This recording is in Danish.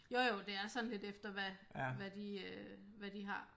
Jo jo det er sådan lidt efter hvad hvad de øh hvad de har